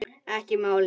Ekki málið!